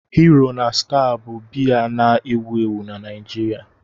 Hero na Star bụ biya na-ewu ewu na Nigeria.